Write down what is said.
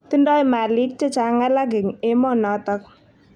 Tindoi malik che chang alak eng emonotok.